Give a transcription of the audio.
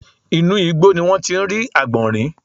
Inú igbó ni wọ́n ti rí àgbọ̀nrín